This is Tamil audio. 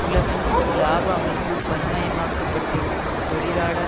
உலகெங்கும் இலாப அமைப்பு பண்புமயமாக்கியிருக்கும் தொழிலாளர்